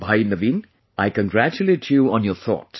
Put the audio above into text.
Bhai Naveen, I congratulate you on your thought